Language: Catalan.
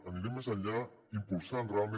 anirem més enllà impulsant realment